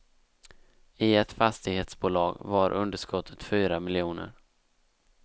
I ett fastighetsbolag var underskottet fyra miljoner.